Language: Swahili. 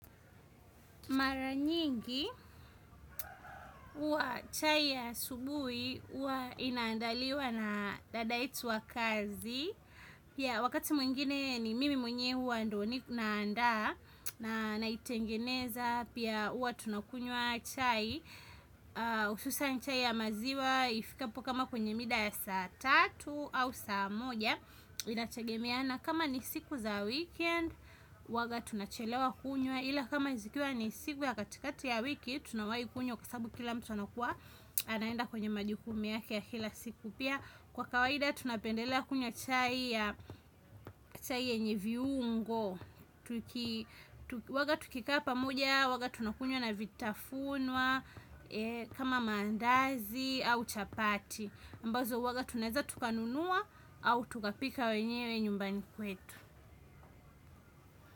Mara nyingi huwa chai ya asubuhi huwa inaandaliwa na dada yetu wa kazi ya wakati mwingine ni mimi mwenye huwa ndio ninandaa naitengeneza pia huwa tunakunywa chai hususan chai ya maziwa. Ifikapo kama kwenye mida ya saa tatu au saa moja. Inategemeana kama ni siku za weekend huwanga tunachelewa kunywa ila kama zikiwa ni siku ya katikati ya wiki tunawai kunywa kwa sababu kila mtu anakuwa anaenda kwenye majukumu yake ya kila siku pia kwa kawaida tunapendelea kunywa chai ya chai yenye viungo huwaga tukikaa pamoja huwaga tunakunywa na vitafunwa kama mandazi au chapati ambazo huwaga tuweza tuka nunuwa au tukapika wenyewe nyumbani kwetu.